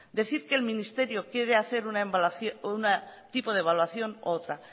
decir que el ministerio quiere hacer un tipo de evaluación u otra